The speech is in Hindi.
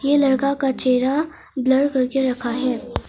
ये लड़का का चेहरा ब्लर करके रखा है।